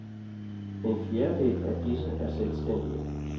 En fjerdedel af disse er selvstændige.